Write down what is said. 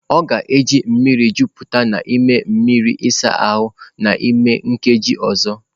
Ọ ga-eji mmiri jupụta n'ime mmiri ịsa ahụ n'ime nkeji ọzọ.